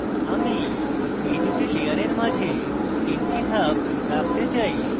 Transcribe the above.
আমি এই দুটি layers মাঝে তিনটি ধাপ রাখতে চাই